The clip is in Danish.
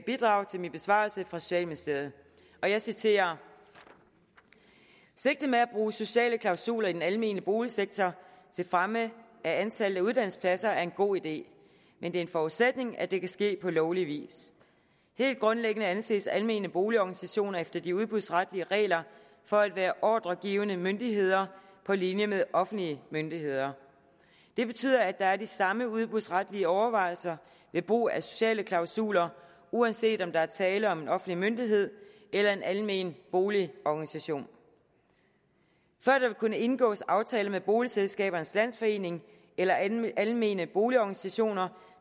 bidrag til min besvarelse fra socialministeriet og jeg citerer sigtet med at bruge sociale klausuler i den almene boligsektor til fremme af antallet af uddannelsespladser er en god idé men det er en forudsætning at det kan ske på lovlig vis helt grundlæggende anses almene boligorganisationer efter de udbudsretlige regler for at være ordregivende myndigheder på linje med offentlige myndigheder det betyder at der er de samme udbudsretlige overvejelser ved brug af sociale klausuler uanset om der er tale om en offentlig myndighed eller en almen boligorganisation før der vil kunne indgås aftaler med boligselskabernes landsforening eller almene almene boligorganisationer